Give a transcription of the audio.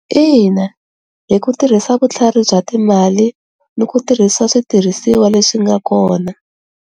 Ina, hi ku tirhisa vutlhari bya timali ni ku tirhisa switirhisiwa leswi nga kona.